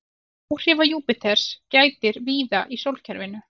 Áhrifa Júpíters gætir víða í sólkerfinu.